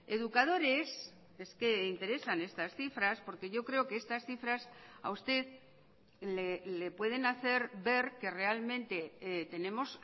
educadores es que interesan estas cifras porque yo creo que estas cifras a usted le pueden hacer ver que realmente tenemos